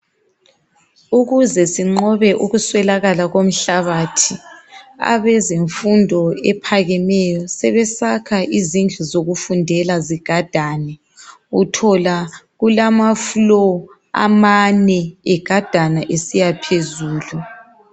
ukuze sinqobe ukuswelakala komhlabathi abezemfundo ephakemeyo sebesakha izindlu zokufundela zigadane uthola kulama floor amane egadana esiya phezulu